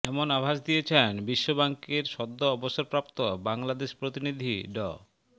এমন আভাস দিয়েছেন বিশ্বব্যাংকের সদ্য অবসরপ্রাপ্ত বাংলাদেশ প্রতিনিধি ড